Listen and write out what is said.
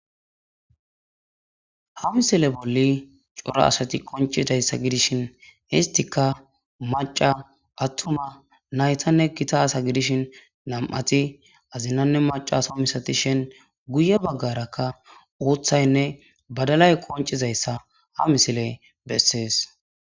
Ha misile bolla cora asat qoncidaysa gidishn istika maca ,atuma, naytanne Gita asa gidishn , 2 ti azinanne macasha masatishn istappe guye bagaraka uthinne badalay qoncizaysa ha misiley beses.